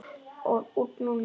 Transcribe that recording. Út núna?